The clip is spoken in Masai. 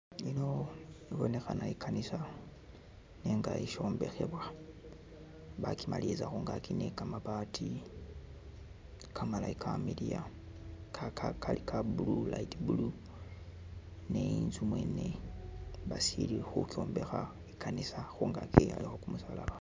Yino ibonekhana I'kanisa nenga ishombekhebwa, bakimaliriza khungaaki ni kamabaati kamalayi kamiliya kaka kali Ka blue light blue ni inzu mwene basili khukyombekha I'kanisa khungaaki elikho kumusalaba